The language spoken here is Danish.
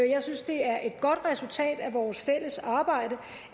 jeg synes det er et godt resultat af vores fælles arbejde